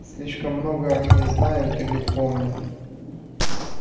слишком много они не знают и не помнят